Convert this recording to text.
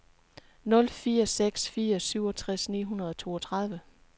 nul fire seks fire syvogtres ni hundrede og toogtredive